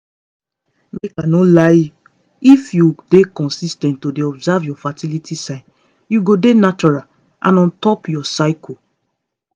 make i no lie if you dey consis ten t to dey observe your fertility signs you go dey natural and on top your cycle.